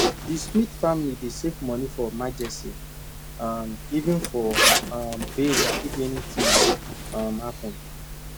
di smith family dey save money for emergency um even for um burial if anything um happen